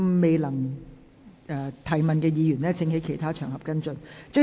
未能提問的議員請在其他場合跟進。